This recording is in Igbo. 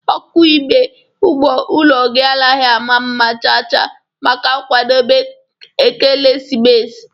ọkụ ime ụlọ gị amaghị mma chaa chaa maka nwadobe ekelesimesi.